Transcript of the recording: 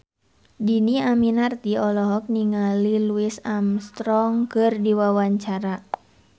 Dhini Aminarti olohok ningali Louis Armstrong keur diwawancara